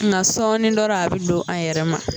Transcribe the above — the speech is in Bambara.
Nga sɔɔni dɔrɔn a bɛ don a yɛrɛ ma.